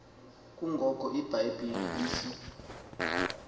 kungoko ibhayibhile isi